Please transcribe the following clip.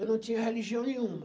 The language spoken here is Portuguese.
Eu não tinha religião nenhuma.